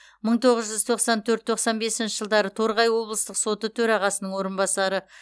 мың тоғыз жүз тоқсан төрт тоқсан бесінші жылдары торғай облыстық соты төрағасының орынбасары